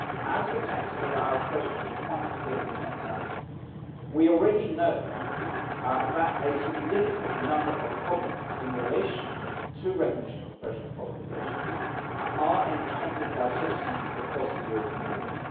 as the text of our question quite clearly sets out, we already know that a significant number of problems in relation to recognition of professional qualifications are encountered by citizens across the European Union.